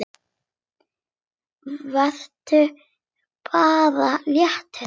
Vertu bara léttur!